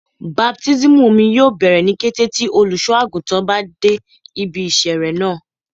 Baptismu omi yoo bẹrẹ ni kete ti oluso-aguntan ba de ibi isere naa